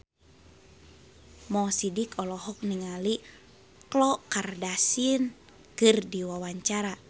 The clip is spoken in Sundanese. Mo Sidik olohok ningali Khloe Kardashian keur diwawancara